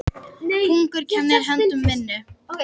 Hungur kennir höndum vinnu.